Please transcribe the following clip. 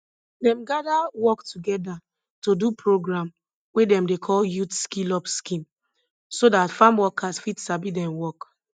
dem gather work together to do program wey dem dey call youth skill up scheme so dat farm workers fit sabi dem work